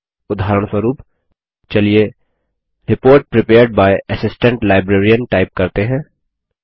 उदाहरणस्वरुप चलिए report prepared by assistant librarian type करते हैं